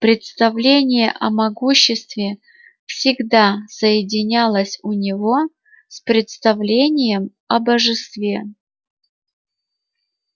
представление о могуществе всегда соединялось у него с представлением о божестве